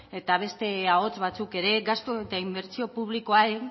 eta beste ahots batzuk ere gastu eta inbertsio publikoari